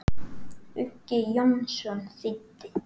Uggi Jónsson þýddi.